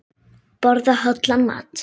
Borða hollan mat.